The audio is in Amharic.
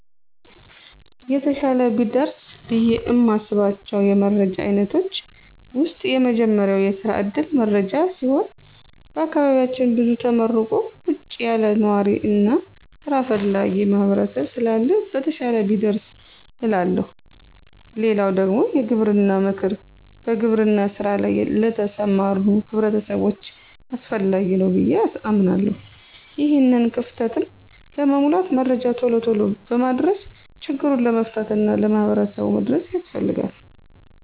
የተሻለ ቢደርስ ብዬ እማስባቸው የመረጃ አይነቶች ዉስጥ የመጀመሪያው የስራ ዕድል መረጃ ሲሆን በአካባቢያችን ብዙ ተመርቆ ቁጭ ያለ ነዋሪ እና ሥራ ፈላጊ ማህበረሰብ ስላለ በተሻለ ቢደርስ እላለሁ። ሌላው ደግሞ የግብርና ምክር በግብርና ሥራ ላይ ለተሰማሩ ሕብረተሰቦች አስፈላጊ ነው ብዬ አምናለሁ። ይሄንን ክፍተትም ለመሙላት መረጃ ቶሎ ቶሎ በማድረስ ችግሩን መፍታት እና ለሕብረተሰቡ መድረስ ያስፈልጋል።